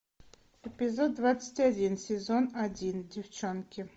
эпизод двадцать один сезон один девчонки